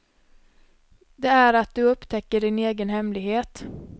Det är att du upptäcker din egen hemlighet.